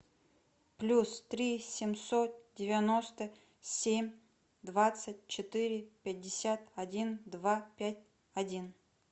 плюс три семьсот девяносто семь двадцать четыре пятьдесят один два пять один